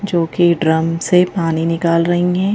जो कि ड्रम से पानी निकाल रही है।